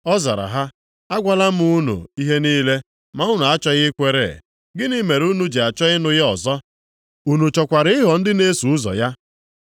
Ọ zara ha, “Agwala m unu ihe niile, ma unu achọghị ikwere. Gịnị mere unu ji chọọ ịnụ ya ọzọ? Unu chọkwara ịghọ ndị na-eso ụzọ ya?”